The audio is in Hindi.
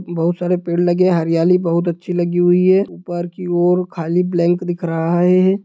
बहुत सारे पेड़ लगे हैं| हरियाली बहुत अच्छी लगी हुई है| ऊपर की और खाली ब्लांक दिख रहा है।